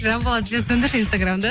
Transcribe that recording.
жанболат сен сөндірші инстаграмды